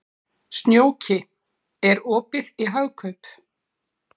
Snjóki, er opið í Hagkaup?